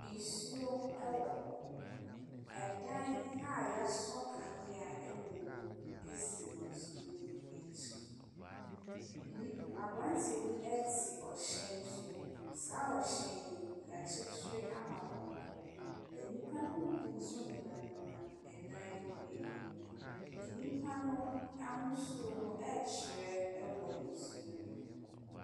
Nsuo wɔ hɔ. Ɛdan a wɔasɔ kanea wɔ mu si nsuo nyi akyi. Nni aberanteɛ bi te ɔhyɛn so. Saa ɔhyɛn yi, wɔakyekyere ama pɔnkɔ. Nnipa no mu bi nso nenam nenam dan no anim. Nnipa no ahosuo no rekyerɛ wɔ nsuo no mu.